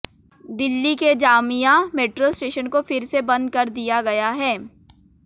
दिल्ली के Jamia metro station को फिर से बंद कर दिया गया है